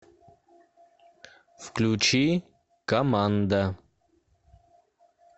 включи команда